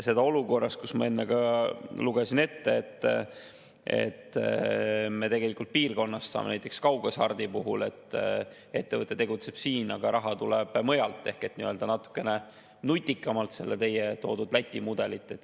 Seda olukorras – ma enne ka lugesin ette –, kus kaughasart puhul ettevõte tegutseb siin, aga raha tuleb mujalt ehk saame piirkonnas natukene nutikamalt, teie toodud Läti mudelit.